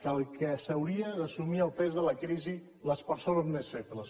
que no haurien d’assumir el pes de la crisi les persones més febles